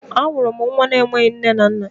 A hụrụ nwa na enweghị nne na nna.